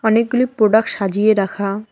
অনেকগুলি প্রোডাক্ট সাজিয়ে রাখা।